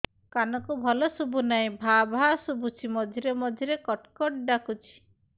କାନକୁ ଭଲ ଶୁଭୁ ନାହିଁ ଭାଆ ଭାଆ ଶୁଭୁଚି ମଝିରେ ମଝିରେ କଟ କଟ ଡାକୁଚି